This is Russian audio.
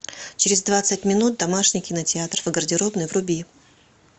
через двадцать минут домашний кинотеатр в гардеробной вруби